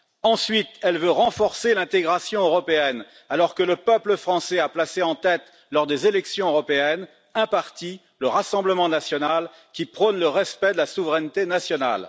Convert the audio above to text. Ensuite, elle veut renforcer l'intégration européenne, alors que le peuple français a placé en tête, lors des élections européennes, un parti le Rassemblement national qui prône le respect de la souveraineté nationale.